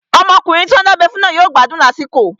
Ọmọkùnrin tí wọ́n dábẹ́ fún náà yóò gbádùn lásìkò